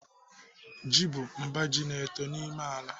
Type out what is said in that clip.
Ji bụ mba ji na-eto n'ime ala.